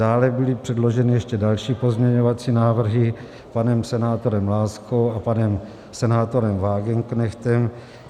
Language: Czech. Dále byly předloženy ještě další pozměňovací návrhy panem senátorem Láskou a panem senátorem Wagenknechtem.